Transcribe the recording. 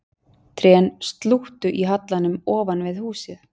Trén slúttu í hallanum ofan við húsið